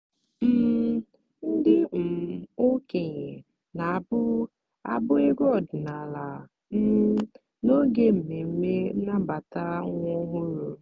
um ndị um okenye na-abụ abụ egwu ọdịnala um n'oge mmemme nnabata nwa ọhụrụ.